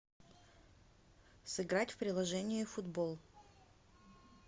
сыграть в приложение футбол